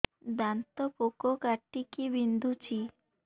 ଦାନ୍ତ ପୋକ କାଟିକି ବିନ୍ଧୁଛି